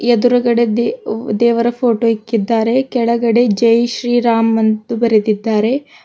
ಎದುರಗಡೆ ದೇವ್ ದೇವರ ಫೋಟೋ ಇಕ್ಕಿದ್ದಾರೆ ಕೆಳಗಡೆ ಜೈ ಶ್ರೀ ರಾಮ್ ಅಂತು ಬರೆದಿದ್ದಾರೆ.